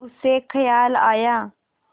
उसे ख़याल आया